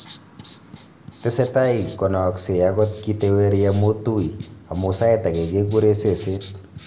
Tesetai konaaksei akot kiteweri amu tui, amu sait age kegure ' seseet'